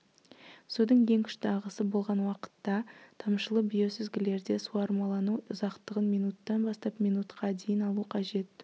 судың ең күшті ағысы болған уақытта тамшылы биосүзгілерде суармалану ұзақтығын минуттан бастап минуткқа дейін алу қажет